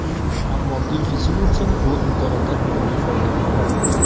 Ammo Gilfi Sigurdsson bu imkoniyatdan unumli foydalana olmadi.